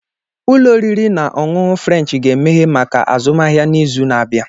Ụlọ oriri na ọṅụṅụ Frénchi ga-emeghe maka azụmahịa n'izu na-abịa